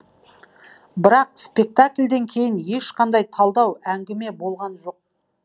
бірақ спектакльден кейін ешқандай талдау әңгіме болған жоқ